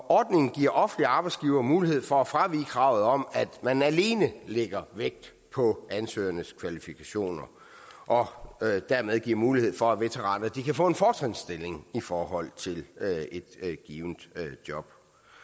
ordningen giver offentlige arbejdsgivere mulighed for at fravige kravet om at man alene lægger vægt på ansøgernes kvalifikationer og dermed giver mulighed for at veteraner kan få en fortrinsstilling i forhold til et givent job